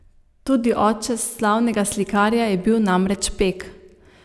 Tudi oče slavnega slikarja je bil namreč pek.